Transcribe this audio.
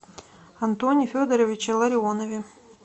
антоне федоровиче ларионове